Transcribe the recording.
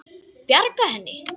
Bjarga henni?